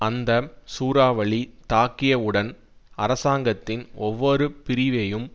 அந்த சூறாவளி தாக்கியவுடன் அரசாங்கத்தின் ஒவ்வொரு பிரிவையும்